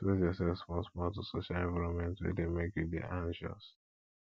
expose yourself small small to social environment wey dey make you dey anxious